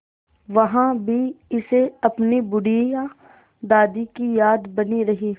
वहाँ भी इसे अपनी बुढ़िया दादी की याद बनी रही